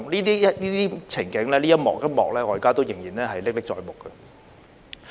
這一幕一幕情境我現在仍然歷歷在目。